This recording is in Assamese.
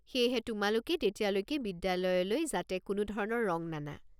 সেয়েহে তোমালোকে তেতিয়ালৈকে বিদ্যালয়লৈ যাতে কোনোধৰণৰ ৰং নানা।